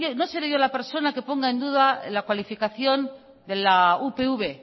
no seré yo la persona que ponga en duda la cualificación de la upv